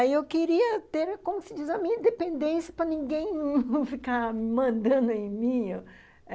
Aí eu queria ter, como se diz, a minha dependência para ninguém não ficar mandando em mim